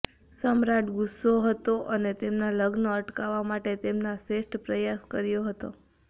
સમ્રાટ ગુસ્સો હતો અને તેમના લગ્ન અટકાવવા માટે તેમના શ્રેષ્ઠ પ્રયાસ કર્યો હતો